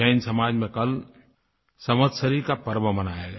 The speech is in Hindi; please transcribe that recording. जैन समाज में कल संवत्सरी का पर्व मनाया गया